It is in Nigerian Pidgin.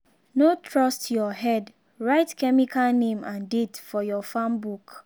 no trust your head—write chemical name and date for your farm book.